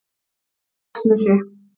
Laxnesi